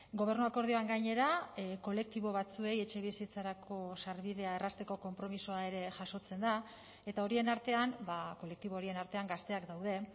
gobernu akordioan gainera kolektibo batzuei etxebizitzarako sarbidea errazteko konpromisoa ere jasotzen da eta horien artean kolektibo horien artean gazteak daude